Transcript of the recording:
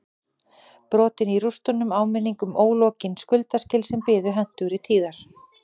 Brotin í rústunum áminning um ólokin skuldaskil sem biðu hentugri tíðar